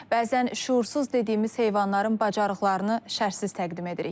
Bəzən şüursuz dediyimiz heyvanların bacarıqlarını şərsiz təqdim edirik.